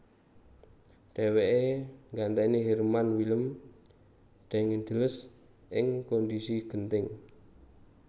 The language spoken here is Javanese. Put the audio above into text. Dhèwèké nggantèni Herman Willem Daendels ing kondhisi genting